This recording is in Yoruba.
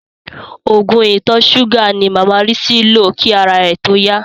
Oògùn ìtọ̀-súgà ni màmá Rísí lò kí ara rẹ̀ tó yá.